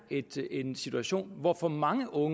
en situation hvor for mange unge